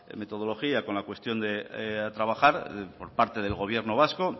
metodología con la cuestión de trabajar por parte del gobierno vasco